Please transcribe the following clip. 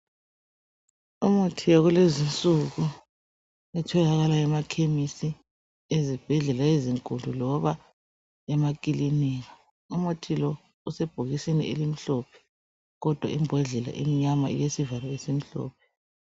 Umuthi wakulezi insuku otholakala emakhemisi ezibhedlela ezinkulu loba emakilinika. Umuthi lo usebhokisini elimhlophe kodwa imbodlela imnyama ilesivalo esimhlophe.